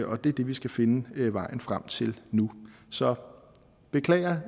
og det er det vi skal finde vejen frem til nu så jeg beklager